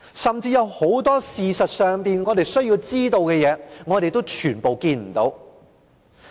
甚至有很多我們事實上需要知道的事，我們全部都見不到。